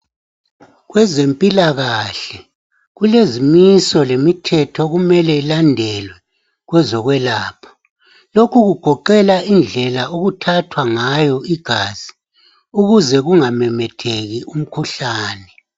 Kwezempilakahle kulezimiso lemithetho okumele ilandelwe kwezokwelapha lokhu kugoqela indlela okuthathwa ngayo igazi ukuze kungamemetheki umkhuhlane.